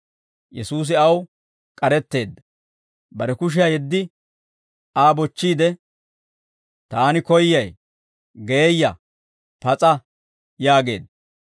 Yesuusi aw k'aretteedda; bare kushiyaa yeddi, Aa bochchiide, «Taani koyyay; geeyya; pas'a!» yaageedda.